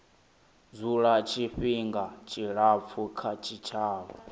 dzula tshifhinga tshilapfu kha tshitshavha